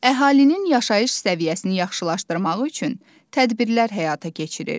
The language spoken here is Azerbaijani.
Əhalinin yaşayış səviyyəsini yaxşılaşdırmaq üçün tədbirlər həyata keçirir.